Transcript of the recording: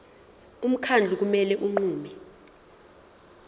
umkhandlu kumele unqume